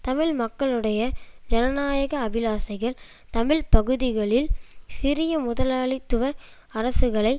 தமிழ் மக்களுடைய ஜனநாயக அபிலாசைகள் தமிழ் பகுதிகளில் சிறிய முதலாளித்துவ அரசுகளை